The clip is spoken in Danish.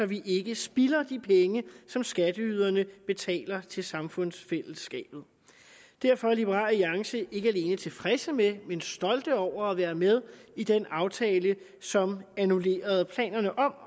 vi ikke spilder de penge som skatteyderne betaler til samfundsfællesskabet derfor er liberal alliance ikke alene tilfredse med men stolte over at være med i den aftale som annullerede planerne om